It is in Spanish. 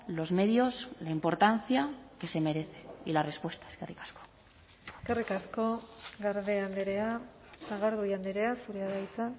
los medios la importancia que se merece y la respuesta eskerrik asko eskerrik asko garde andrea sagardui andrea zurea da hitza